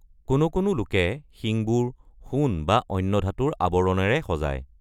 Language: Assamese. কোনো কোনো লোকে শিংবোৰ সোণ বা অন্য ধাতুৰ আৱৰণেৰে সজায়।